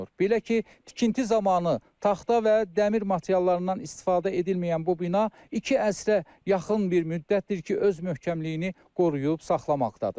Belə ki, tikinti zamanı taxta və dəmir materiallarından istifadə edilməyən bu bina iki əsrə yaxın müddətdir ki, öz möhkəmliyini qoruyub saxlamaqdadır.